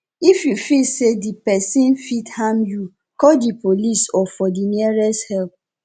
if you feel say di perosn fit harm you call di police or for the nearest help